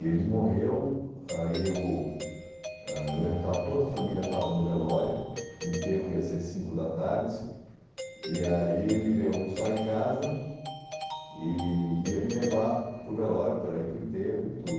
Ele morreu, aí eu ãh eu lembro que estava toda a família estava no velório, o enterro ia ser às cinco da tarde, e aí ele veio almoçar em casa e ia me levar para o velório para ir para o enterro e tudo.